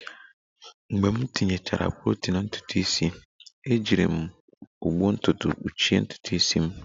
Mgbe m tinyechara protein ntutu isi, ejiri m ụgbụ ntutu kpuchie ntutu isi m